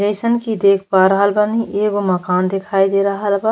जइसन कि देख पा रहल बानी एगो मकान दिखाई दे रहल बा।